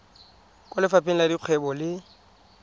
kwa lefapheng la dikgwebo le